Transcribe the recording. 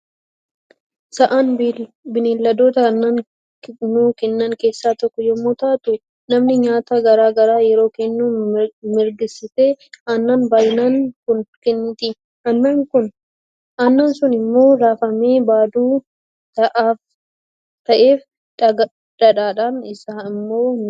Sa'aan bineeldota aannan nuu Kennan keessaa tokkoo yommuu taatu namni nyaata garaa garaa yeroo kennuu mirgistee aannan baay'inaan Kun kenniiti aannan sun immoo raafamee baaduu ta'eef dgadhaan isaa immoo ni baafama.